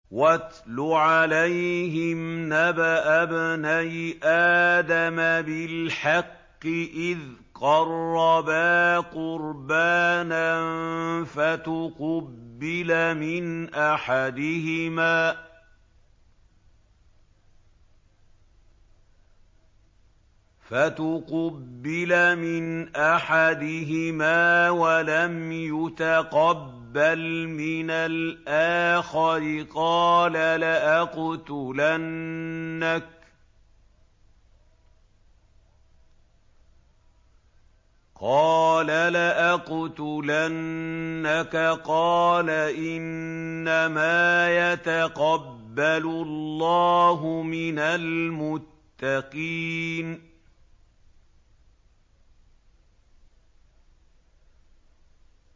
۞ وَاتْلُ عَلَيْهِمْ نَبَأَ ابْنَيْ آدَمَ بِالْحَقِّ إِذْ قَرَّبَا قُرْبَانًا فَتُقُبِّلَ مِنْ أَحَدِهِمَا وَلَمْ يُتَقَبَّلْ مِنَ الْآخَرِ قَالَ لَأَقْتُلَنَّكَ ۖ قَالَ إِنَّمَا يَتَقَبَّلُ اللَّهُ مِنَ الْمُتَّقِينَ